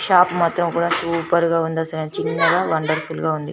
Shop మొత్తం కూడా super గ ఉంది అసలు చిన్నగ వండర్ఫుల్ గ ఉంది.